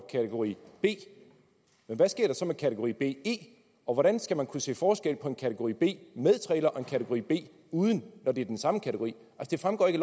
kategori b men hvad sker der så med kategori be og hvordan skal man kunne se forskel på en kategori b med trailer og en kategori b uden når det er den samme kategori det fremgår ikke